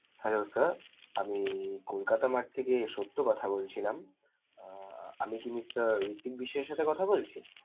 Hello sir আমি Kolkata mart থেকে সত্য কথা কলছিলাম. আহ আমি কি mister ঋত্বিক বিশ্বাসের সাথে কথা বলছি?